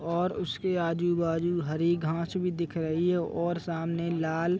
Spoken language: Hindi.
और उसके आजु बाजु हरी घांस भी दिख रही है और सामने लाल--